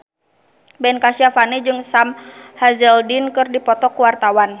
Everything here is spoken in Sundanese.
Ben Kasyafani jeung Sam Hazeldine keur dipoto ku wartawan